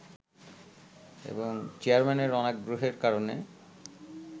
এবং চেয়ারম্যানের অনাগ্রহের কারণে